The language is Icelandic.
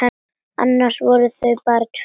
Annars voru þau bara tvö.